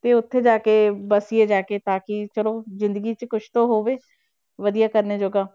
ਤੇ ਉੱਥੇ ਜਾ ਕੇ ਬਸੀਏ ਜਾ ਕੇ, ਤਾਂ ਕਿ ਚਲੋ ਜ਼ਿੰਦਗੀ 'ਚ ਕੁਛ ਤਾਂ ਹੋਵੇ, ਵਧੀਆ ਕਰਨੇ ਜੋਗਾ।